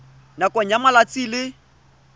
nakong ya malatsi a le